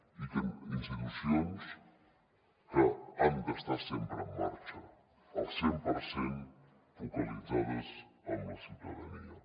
i institucions que han d’estar sempre en marxa al cent per cent focalitzades en la ciutadania